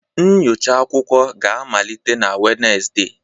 Nyocha akwụkwọ ga-amalite na Wednesde